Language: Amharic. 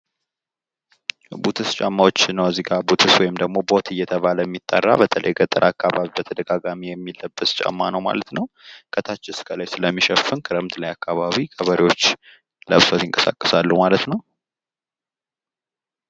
ቡትስ ጫማዎች ነው እዚጋ ቡትስ ወይምደሞ ቦት እየተባለ የሚጠራ፤ በተለይ ገጠር አከባቢ በተደጋጋሚ የሚለበስ ጫማ ነው ማለት ነው፤ ከታች እስከ ላይ ስለሚሸፍን ክረምት ላይ አከባቢ ገበሬዎች ለብሰዉት ይንቀሳቀሳሉ ማለት ነው።